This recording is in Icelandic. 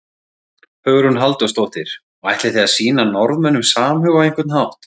Hugrún Halldórsdóttir: Og ætlið þið að sýna Norðmönnum samhug á einhvern hátt?